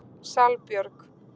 Salbjörg